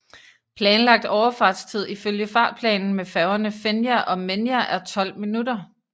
Planlagt overfartstid ifølge fartplanen med færgerne Fenja og Menja er 12 minutter